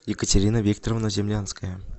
екатерина викторовна землянская